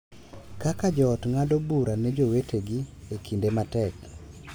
Kaka jo ot ng’ado bura ne jowetegi e kinde matek.